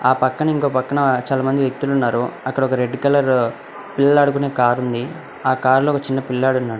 ఆ పక్కన ఇంకో పక్కన చాలా మంది వ్యక్తులు ఉన్నారు అక్కడ ఒక రెడ్ కలర్ పిల్లలు ఆడుకునే కార్ ఉంది ఆ కార్లో ఒక చిన్న పిల్లాడు ఉన్నాడు.